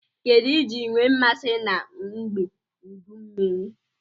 Kedu iji nwe mmasi na ngbe udu mmiri?